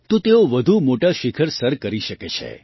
તો તેઓ વધુમોટાં શિખર સર કરી શકે છે